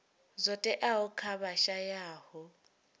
zwo teaho kha vha shayaho